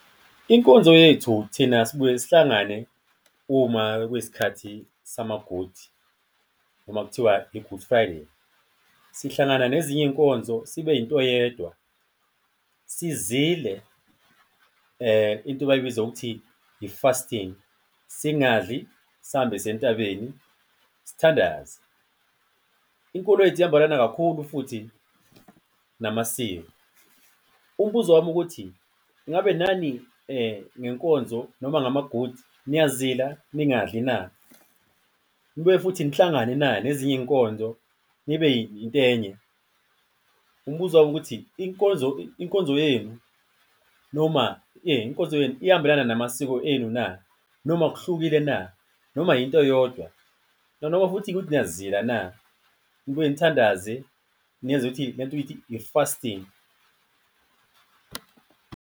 Inkonzo yethu thina sibuye sihlangane uma kuyi sikhathi sama-Good, noma kuthiwa i-Good Friday. Sihlangana nezinye iy'nkonzo sibe into eyedwa, sizile into abayibiza ngokuthi i-fasting, singadli, sihambe siye entabeni, sithandaze. Inkolo yethu ihambelana kakhulu futhi namasiko. Umbuzo wami ukuthi kungabe nani ngenkonzo noma ngama-Good, niyazila ningadli na? Nibuye futhi nihlangane na nezinye iy'nkonzo, nibe into enye? Umbuzo wami ukuthi inkonzo yenu noma, inkonzo yenu ihambelana namasiko enu na? Noma kuhlukile na? Noma into eyodwa? Noma-ke ukuthi niyazila na, nibuye nithandaze, niyenze ukuthi lento ithi i-fasting?